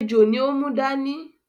Ejò ni ó mú dání